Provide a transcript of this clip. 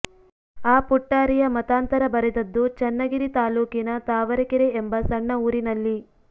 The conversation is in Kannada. ಆ ಪುಟ್ಟಾರಿಯ ಮತಾಂತರ ಬರೆದದ್ದು ಚನ್ನಗಿರಿ ತಾಲ್ಲೋಕಿನ ತಾವರಕೆರೆ ಎಂಬ ಸಣ್ಣ ಊರಿನಲ್ಲಿ